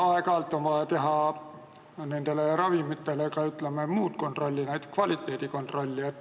Aga aeg-ajalt on vaja teha nendele ravimitele ka, ütleme, muud kontrolli, näiteks kvaliteedikontrolli.